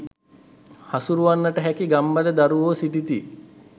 හසුරුවන්නට හැකි ගම්බද දරුවෝ සිටිති